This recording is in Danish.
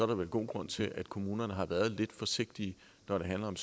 der vel god grund til at kommunerne har været lidt forsigtige når det handler om